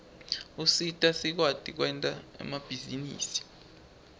usita sikwati kwenta emabhizinisi